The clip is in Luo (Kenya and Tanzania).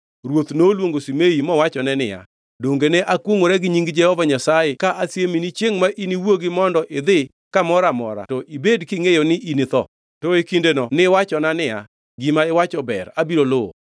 ruoth noluongo Shimei mowachone niya, “Donge ne akwongʼora gi nying Jehova Nyasaye ka asiemi ni chiengʼ ma iniwuogi mondo idhi kamoro amora to ibed kingʼeyo ni initho? To e kindeno niwachona niya, ‘Gima iwacho ber, abiro luwo.’